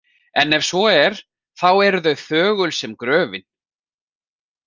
En ef svo er, þá eru þau þögul sem gröfin.